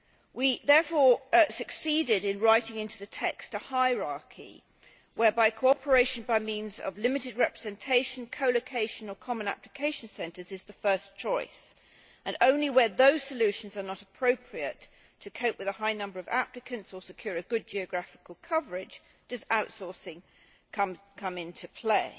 We therefore succeeded in writing into the text a hierarchy whereby cooperation by means of limited representation, co location or common application centres is the first choice, and only where those solutions are not appropriate to cope with a high number of applicants or secure a good geographical coverage does outsourcing come into play.